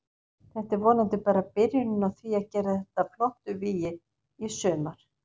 Þetta er vonandi bara byrjunin á því að gera þetta að flottu vígi í sumar.